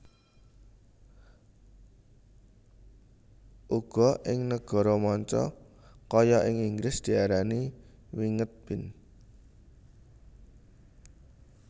Uga ing Nagara manca kaya ing Inggris diarani winged bean